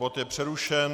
Bod je přerušen.